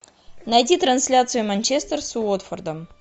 найти трансляцию манчестер с уотфордом